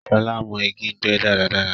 Shọla mọ̀ igi gbé dáradára